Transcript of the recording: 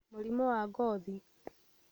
Mĩrimũ ya ngothi